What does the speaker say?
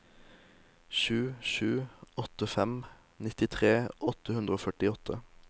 sju sju åtte fem nittitre åtte hundre og førtiåtte